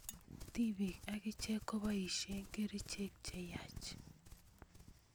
tipik akiche kopoisie kerichek cheyach